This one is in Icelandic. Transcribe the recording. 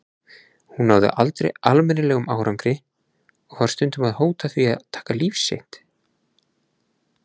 Hún náði aldrei almennilegum árangri og var stundum að hóta því að taka líf sitt.